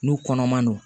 N'u kɔnɔman don